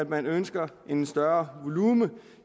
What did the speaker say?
man nu ønsker en større volumen